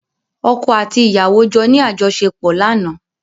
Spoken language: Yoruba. Ọ̀kọ́ àti ìyàwó jọ ní àjọṣèpọ̀ lánàá.